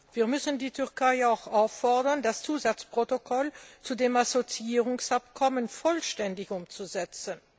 Wir müssen die Türkei auch auffordern, das Zusatzprotokoll zu dem Assoziierungsabkommen vollständig umzusetzen.